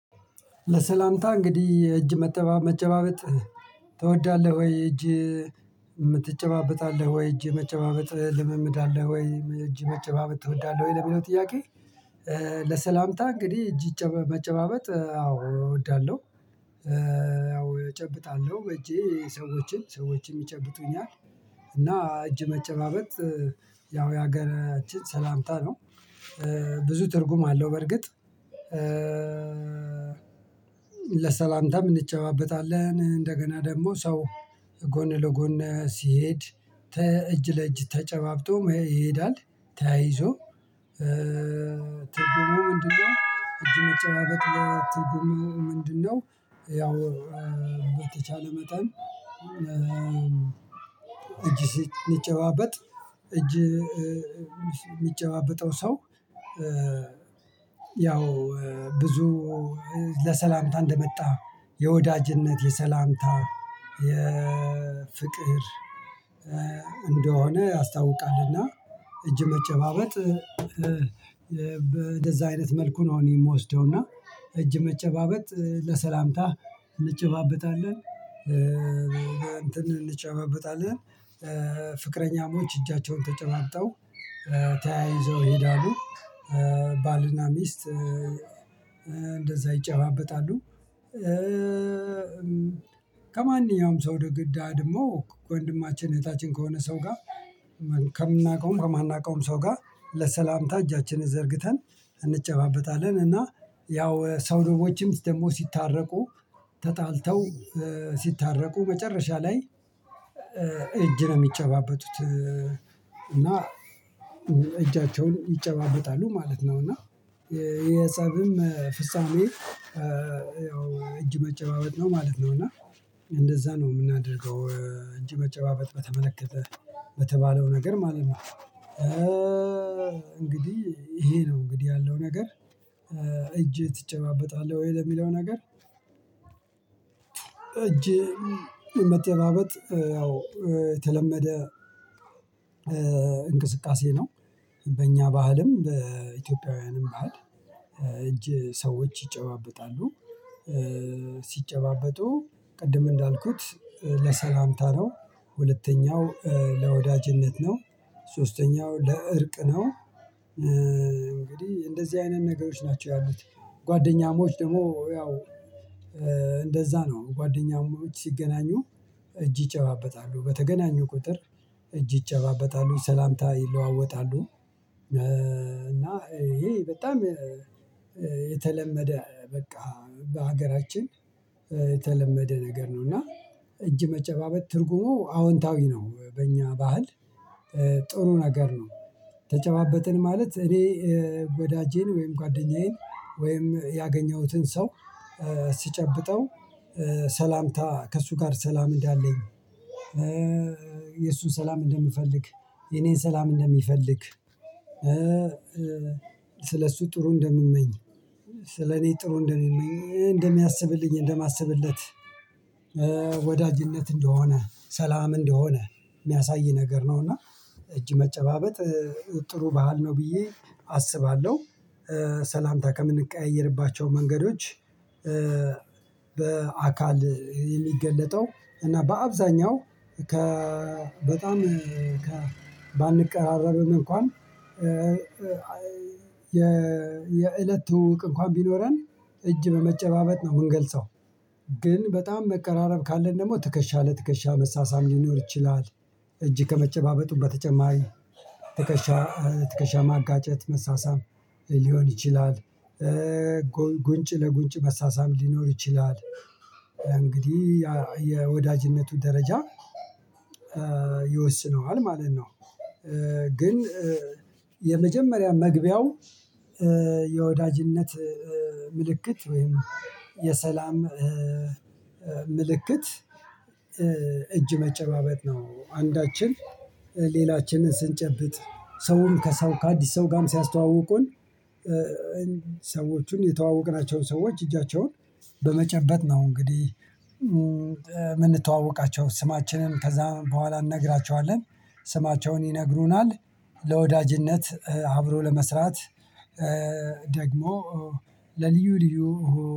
ለሰላምታ እንግዲህ እጅ መጨባበጥ ትወዳለህ ወይ? እጅ የመጨባበጥ ልምምድ አለህ ወይ? እጅ የመጨባበጥ ትወዳለህ ወይ? ለሚለው ጥያቄ ለሰላምታ እንግዲህ እጅ መጨባበጥ አዎ እወዳለሁ። አዎ እጨብጣለሁ። እጄ ሰዎችን፣ ሰዎችም ይጨብጡኛል። እና እጅ መጨባበጥ ያው የሀገራችን ሰላምታ ነው። ብዙ ትርጉም አለው በርግጥ። ለሰላምታም እንጨባበታለን። እንደገና ደግሞ ሰው ጎን ለጎን ሲሄድ እጅ ለእጅ ተጨባብጦ ይሄዳል፤ ተያይዞ። ተገመሙ ምንድነው? እጅ መጨረሻ ትርጉሙ ምንድነው? ያው በተቻለ መጠን እጅ ስንጨባበጥ እጅ የሚጨባበጠው ሰው ያው ብዙ ለሰላምታ እንደመጣ የወዳጅነት የሰላምታ የፍቅር እንደሆነ ያስታውቃልና እጅ መጨባበጥ እንደዛ አይነት መልኩ ነው እኔ የምወስደው። እና እጅ መጨባበጥ ለሰላምታ እንጨባበጣለን። እንጨበብጣለን። ፍቅረኛሞች እጃቸውን ተጨባብጠው ተያይዘው ይሄዳሉ። ባልና ሚስት እንደዛ ይጨባበጣሉ። ከማንኛውም ሰው ደግሞ ከወንድማችን እህታችን ከሆነ ሰው ጋር ከምናውቀውም ከማናውቀውም ሰው ጋር ለሰላምታ እጃችንን ዘርግተን እንጨባበታለን። እና ያው ሰዎችም ደግሞ ሲታረቁ፣ ተጣልተው ሲታረቁ መጨረሻ ላይ እጅ ነው የሚጨባበቱት። እና እጃቸውን ይጨባበጣሉ ማለት ነው። እና የጸብም ፍጻሜ ያው እጅ መጨባበጥ ነው ማለት ነው። እና እንደዛ ነው የምናደርገው። እጅ መጨባበጥ በተመለከተ በተባለው ነገር ማለት ነው። እንግዲህ ይሄ ነው እንግዲህ ያለው ነገር። እጅ ትጨባበጣለህ ወይ? ለሚለው ነገር፣ እጄ መጠበቅ ያው የተለመደ እንቅስቃሴ ነው። በእኛ ባህልም በኢትዮጵያውያንም ባህል እጅ ሰዎች ይጨባበጣሉ። ሲጨባበጡ ቅድም እንዳልኩት ለሰላምታ ነው። ሁለተኛው ለወዳጅነት ነው። ሶስተኛው ለእርቅ ነው። እንግዲህ እንደዚህ አይነት ነገሮች ናቸው ያሉት። ጓደኛሞች ደግሞ ያው እንደዛ ነው ጓደኛሞች ሲገናኙ እጅ ይጨባበታሉ። በተገናኙ ቁጥር እጅ ይጨባበታሉ። ሰላምታ ይለዋወጣሉ። እና ይሄ በጣም የተለመደ በቃ በሀገራችን የተለመደ ነገር ነው። እና እጅ መጨባበጥ ትርጉሙ አዎንታዊ ነው። በእኛ ባህል ጥሩ ነገር ነው። ተጨባበጥን ማለት እኔ ወዳጄን ወይም ጓደኛዬን ወይም ያገኘሁትን ሰው ሲጨብጠው ሰላምታ ከእሱ ጋር ሰላም እንዳለኝ የእሱን ሰላም እንደምፈልግ፣ የኔን ሰላም እንደሚፈልግ ስለሱ ጥሩ እንደምመኝ፣ ስለኔ ጥሩ እንደምመኝ፣ እንደሚያስብልኝ፣ እንደማስብለት ወዳጅነት እንደሆነ፣ ሰላም እንደሆነ የሚያሳይ ነገር ነውና እጅ መጨባበጥ ጥሩ ባህል ነው ብዬ አስባለሁ። ሰላምታ ከምንቀያየርባቸው መንገዶች በአካል የሚገለጠው እና በአብዛኛው በጣም ባንቀራረብም እንኳን የእለት ትውውቅ እንኳን ቢኖረን እጅ በመጨባበጥ ነው የምንገልጸው። ግን በጣም መቀራረብ ካለን ደግሞ ትከሻ ለትከሻ መሳሳም ሊኖር ይችላል። እጅ ከመጨባበጡ በተጨማሪ ትከሻ ትከሻ ማጋጨት መሳሳም ሊሆን ይችላል። ጉንጭ ለጉንጭ መሳሳም ሊኖር ይችላል። እንግዲህ የወዳጅነቱ ደረጃ ይወስነዋል ማለት ነው። ግን የመጀመሪያ መግቢያው የወዳጅነት ምልክት ወይም የሰላም ምልክት እጅ መጨባበቅ ነው። አንዳችን ሌላችንን ስንጨብጥ ሰውም ከሰው ከአዲስ ሰው ጋርም ሲያስተዋውቁን ሰዎቹን የተዋወቅናቸው ሰዎች እጃቸውን በመጨበጥ ነው እንግዲህ የምንተዋወቃቸው። ስማችንን ከዛ በኋላ እንነግራቸዋለን። ስማቸውን ይነግሩናል። ለወዳጅነት አብሮ ለመስራት ደግሞ ለልዩ ልዩ